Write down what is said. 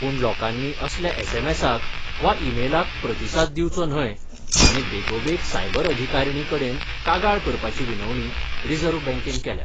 पूण लोकांनी असल्या एसएमसाक वा इमेलाक प्रतिसाद दिवचो न्हय आनी बेगोबेग सायबर अधिकारिणी कडेन कागाळ करपाची विनवणी रिझर्व्ह बँकेन केल्या.